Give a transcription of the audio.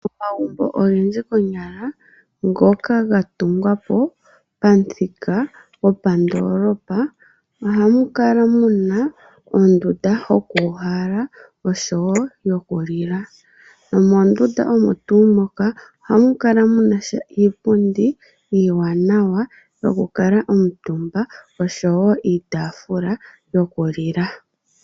Omagumbo ogendji konyala ngoka gatungwa po pamuthika gwopadoolopa ohamu kala muna ondunda yokuuhala oshowo yokulila. Nomondunda omo tuu moka ohamu kala munasha iipundi iiwanawa yoku kala omutumba oshowo iitaafula yokulila.